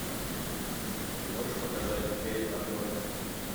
ты можешь показать эй арнольд